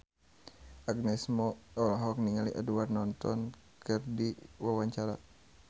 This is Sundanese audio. Agnes Mo olohok ningali Edward Norton keur diwawancara